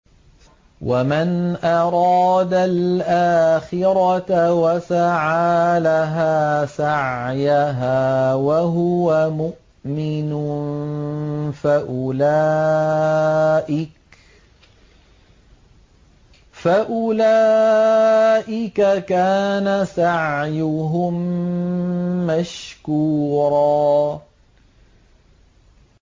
وَمَنْ أَرَادَ الْآخِرَةَ وَسَعَىٰ لَهَا سَعْيَهَا وَهُوَ مُؤْمِنٌ فَأُولَٰئِكَ كَانَ سَعْيُهُم مَّشْكُورًا